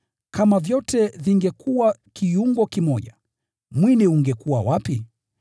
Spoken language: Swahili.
Kama vyote vingekuwa kiungo kimoja, mwili ungekuwa wapi?